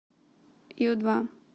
ю два